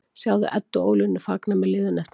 Sjáðu Eddu og Ólínu fagna með liðinu eftir leik